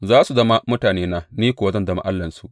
Za su zama mutanena, ni kuwa zan zama Allahnsu.